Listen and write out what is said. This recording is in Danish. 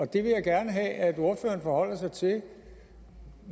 det vil jeg gerne have at ordføreren forholder sig til